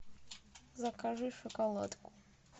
закажи шоколадку